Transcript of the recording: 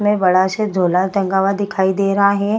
में बड़ा सा झोला टंगा हुआ दिखाई दे रहा है।